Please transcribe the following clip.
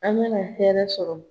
A' mana hɛrɛ sɔrɔ.